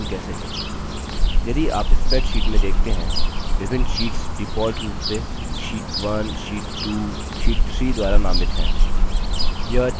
यदि आप spreadsheet में देखते हैं विभिन्न शीट्स default रूप से sheet 1 sheet 1 sheet 1 द्वारा नामित हैं